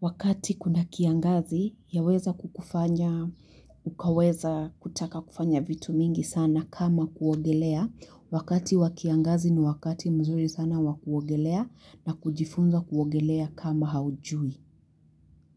wakati kuna kiangazi yaweza kukufanya ukaweza kutaka kufanya vitu mingi sana kama kuogelea wakati wa kiangazi ni wakati mzuri sana wa kuogelea na kujifunza kuogelea kama haujui.